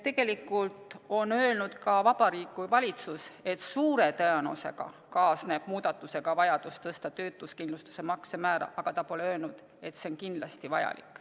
Tegelikult on öelnud ka Vabariigi Valitsus, et suure tõenäosusega kaasneb muudatusega vajadus tõsta töötuskindlustusmakse määra, aga ta pole öelnud, et see on kindlasti vajalik.